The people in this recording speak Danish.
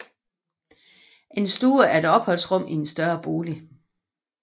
En stue er et opholdsrum i en større bolig